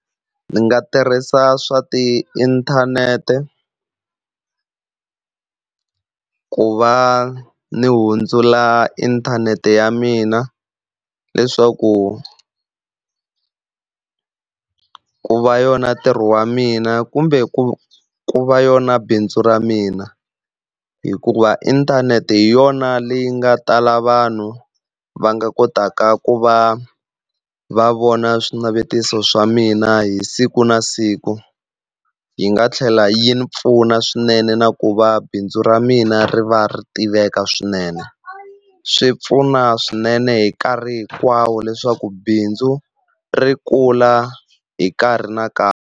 Ndzi nga tirhisa swa tiinthanete ku va ni hundzula inthanete ya mina leswaku ku va yona ntirho wa mina kumbe ku ku va yona bindzu ra mina, hikuva inthanete hi yona leyi nga tala vanhu va nga kotaka ku va va vona swinavetiso swa mina hi siku na siku. Yi nga tlhela yi pfuna swinene na ku va bindzu ra mina ri va ri tiveka swinene. Swi pfuna swinene hi nkarhi hinkwawo leswaku bindzu ri kula hi nkarhi na nkarhi.